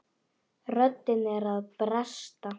Röddin er að bresta.